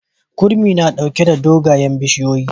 Kurmi na ɗauke da dogayen bishiyoyi.